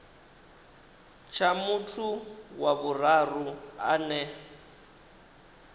tsha muthu wa vhuraru ane